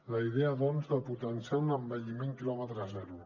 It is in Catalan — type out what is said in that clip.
la idea doncs de potenciar un envelliment quilòmetre zero